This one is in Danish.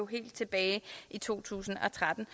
helt tilbage i to tusind og tretten